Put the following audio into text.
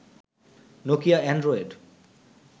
Nokia Android